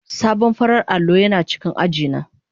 Sabon farar allo yana cikin aji na.